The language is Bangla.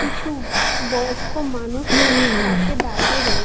কিছু বয়স্ক মানুষ পাশে দাঁড়িয়ে রয়ে--